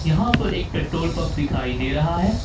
यहां पर एक पेट्रोल पंप दिखाई दे रहा है।